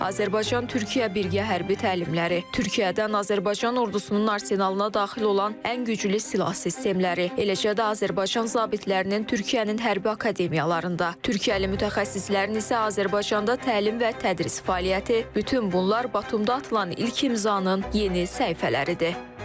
Azərbaycan-Türkiyə birgə hərbi təlimləri, Türkiyədən Azərbaycan ordusunun arsenalına daxil olan ən güclü silah sistemləri, eləcə də Azərbaycan zabitlərinin Türkiyənin hərbi akademiyalarında, Türkiyəli mütəxəssislərin isə Azərbaycanda təlim və tədris fəaliyyəti, bütün bunlar Batumda atılan ilk imzanın yeni səhifələridir.